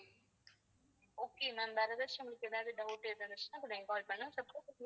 okay ma'am வேற ஏதாச்சும் உங்களுக்கு வேற doubt இருந்துச்சுன்னா எங்களுக்கு call